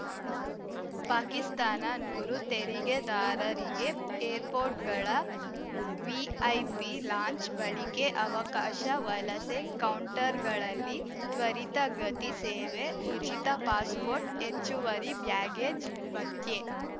ಪಾಕಿಸ್ತಾನ ನೂರು ತೆರಿಗೆದಾರರಿಗೆ ಏರ್‌ಪೋರ್ಟ್‌ಗಳ ವಿಐಪಿ ಲಾಂಜ್‌ ಬಳಿಕೆ ಅವಕಾಶ ವಲಸೆ ಕೌಂಟರ್‌ಗಳಲ್ಲಿ ತ್ವರಿತ ಗತಿ ಸೇವೆ ಉಚಿತ ಪಾಸ್‌ಪೋರ್ಟ್‌ ಹೆಚ್ಚುವರಿ ಬ್ಯಾಗೇಜ್‌ ಭತ್ಯೆ